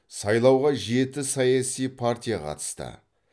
сайлауға жеті саяси партия қатысты